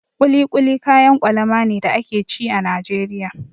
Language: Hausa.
Kuli kuli kayan kwalama ne da ake ci a Najeriya.